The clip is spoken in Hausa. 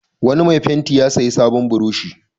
Wani mai fenti ya sayi sabon burushi.